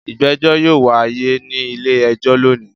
Ìgbẹ́jọ́ yóò wáyé ní ilé-ẹjọ́ lónìí.